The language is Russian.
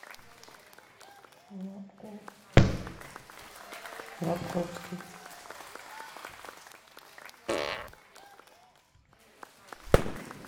лабковский